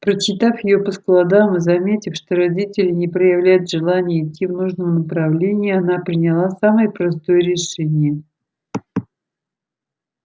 прочитав её по складам и заметив что родители не проявляют желания идти в нужном направлении она приняла самое простое решение